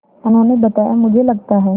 उन्होंने बताया मुझे लगता है